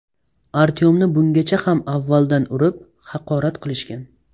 Artyomni bungacha ham avvaldan urib, haqorat qilishgan.